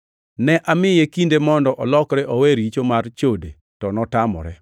Ne amiye kinde mondo olokre owe richo mar chode to notamore.